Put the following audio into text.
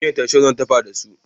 Miyar taushe zan dafa da su.